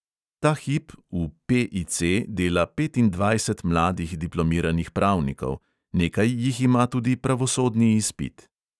Ta hip v PIC dela petindvajset mladih diplomiranih pravnikov, nekaj jih ima tudi pravosodni izpit.